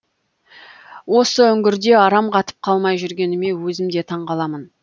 осы үңгірде арам қатып қалмай жүргеніме өзім де таңғаламын